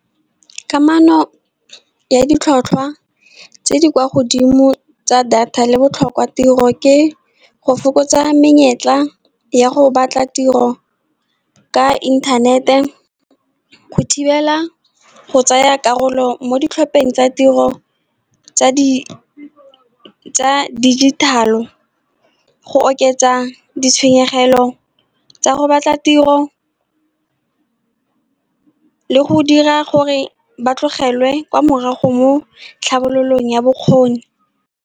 Kamano ya ditlhotlhwa tse di kwa godimo tsa data le botlhokwa tiro ke go fokotsa menyetla ya go batla tiro ka intanete. Go thibela go tsaya karolo mo ditlhopheng tsa tiro tsa dijithale, go oketsa ditshenyegelo tsa go batla tiro, le go dira gore ba tlogelwe kwa morago mo tlhabololong ya bokgoni.